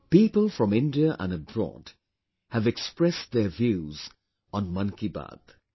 People from India and abroad have expressed their views on 'Mann Ki Baat'